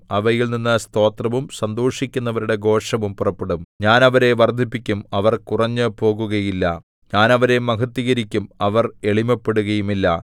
അവയിൽ നിന്നു സ്തോത്രവും സന്തോഷിക്കുന്നവരുടെ ഘോഷവും പുറപ്പെടും ഞാൻ അവരെ വർദ്ധിപ്പിക്കും അവർ കുറഞ്ഞുപോകുകയില്ല ഞാൻ അവരെ മഹത്വീകരിക്കും അവർ എളിമപ്പെടുകയുമില്ല